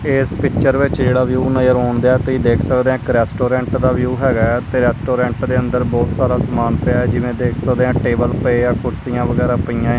ਇੱਸ ਪਿਕਚਰ ਵਿੱਚ ਜਿਹੜਾ ਵਿਊ ਨਜ਼ਰ ਆਉਣਦੇਆਂ ਤੁਸੀ ਦੇਖ ਸਕਦੇਹਾਂ ਰੈਸਟੋਰੈਂਟ ਦਾ ਵਿਊ ਹੈਗਾ ਹੈ ਤੇ ਰੈਸਟੋਰੈਂਟ ਦੇ ਅੰਦਰ ਬਹੁਤ ਸਾਰਾ ਸਮਾਨ ਪਿਆ ਹੈ ਜਿਵੇਂ ਦੇਖ ਸਕਦੇਆਂ ਟੇਬਲ ਪਏਆ ਕੁਰਸੀਆਂ ਵਗੈਰਾ ਪਈਆਂ ਆ।